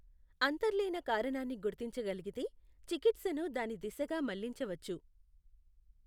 అంతర్లీన కారణాన్ని గుర్తించగలిగితే, చికిత్సను దాని దిశగా మళ్ళించవచ్చు.